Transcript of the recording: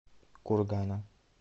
кургана